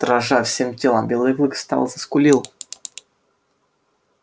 дрожа всем телом белый клык встал заскулил